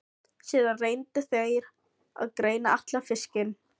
Síðan reyndu þeir að greina allan fiskinn.